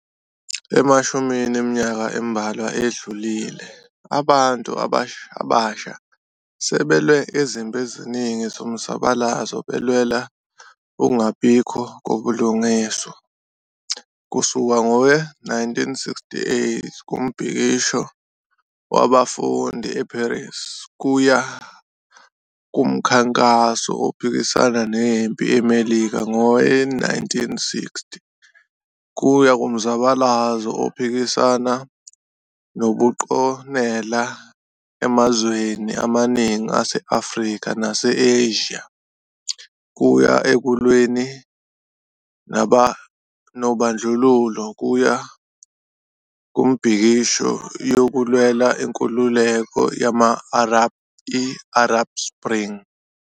Emashumini eminyaka embalwa edlulile, abantu abasha sebelwe izimpi eziningi zomzabalazo belwela ukungabikho kobulungiswa, kusuka ngowe-1968 kumbhikisho wabafundi e-Paris, kuya kumkhankaso ophikisana nempi eMelika ngowe-1960, kuya kumzabalazo ophikisana nobuqonela emazweni amaningi ase-Afrika nase-Asia, kuya ekulweni nobandlululo, kuya kumibhikisho yokulwela inkululeko yama-Arab i-Arab Spring.